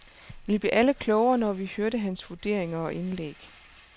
Vi blev alle klogere når vi hørte hans vurderinger og indlæg.